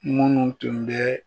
Munnu tun bɛ